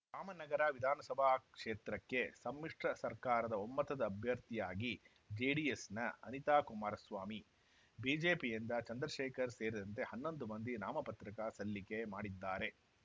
ರಾಮನಗರ ವಿಧಾನಸಭಾ ಕ್ಷೇತ್ರಕ್ಕೆ ಸಮ್ಮಿಶ್ರ ಸರ್ಕಾರದ ಒಮ್ಮತದ ಅಭ್ಯರ್ಥಿಯಾಗಿ ಜೆಡಿಎಸ್‌ನ ಅನಿತಾ ಕುಮಾರಸ್ವಾಮಿ ಬಿಜೆಪಿಯಿಂದ ಚಂದ್ರಶೇಖರ್‌ ಸೇರಿದಂತೆ ಹನ್ನೊಂದು ಮಂದಿ ನಾಮಪತ್ರಕ ಸಲ್ಲಿಕೆ ಮಾಡಿದ್ದಾರೆ